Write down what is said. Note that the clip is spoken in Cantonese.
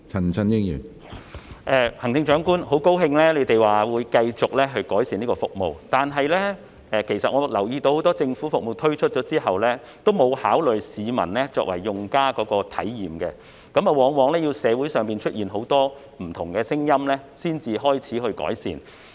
很高興聽到行政長官說會繼續改善這項服務，但其實我留意到很多政府服務推出後，都沒有考慮市民作為用家的體驗，往往要待社會上出現很多不同的聲音後，才開始改善。